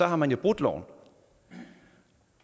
har man jo brudt loven